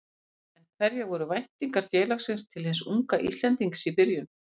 En hverjar voru væntingar félagsins til hins unga Íslendings í byrjun?